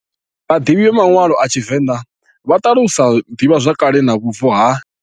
Vhaḓivhi vha manwalo a tshivenḓa vha ṱalusa ḓivhazwakale na vhubvo ha.